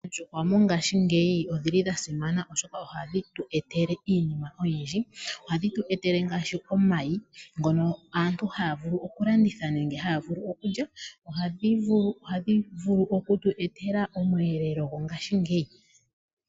Oondjuhwa mongaashingeyi odhili dha simana, oshoka oha dhi tu etele iinima oyindji. Oha dhi tu etele, ngaashi omayi ngono aantu ha ya vulu oku landitha nenge ya vulu okulya, oha dhi vulu oku tu etela omwelelo mongashingeyi